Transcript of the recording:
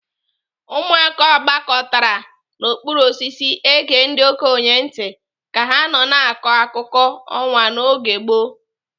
Ụmụaka gbakọtara n'okpuru osisi ege ndi okenye ntị ka ha na-akọ akụkọ ọnwa n'oge gboo.